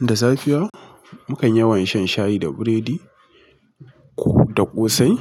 Da safiya mu kan yawan shan shayi da biredi da ƙosai